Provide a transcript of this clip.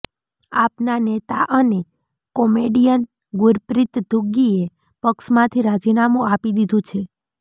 આપના નેતા અને કોમેડિયન ગુરપ્રીત ધુગ્ગીએ પક્ષમાંથી રાજીનામું આપી દીધું છે